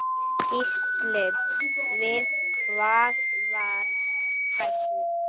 Gísli: Við hvað varstu hræddur?